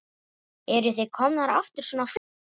Eruð þið komnir aftur svona fljótt?